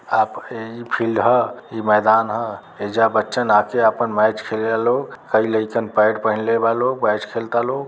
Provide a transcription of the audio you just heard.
आप इ फिल्ड ह । इ मैदान ह । एइजा बच्छन आके आपन मैच खेलेला लोग। आ इ लइकन पैड पहिनले बा लोग। मैच खेलता लोग।